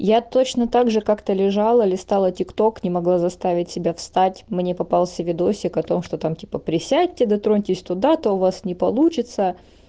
я точно так же как-то лежала листала тикток не могла заставить себя встать мне попался видосик о том что там типа присядьте дотроньтесь туда-то у вас не получится